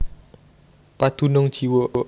Padunung jiwa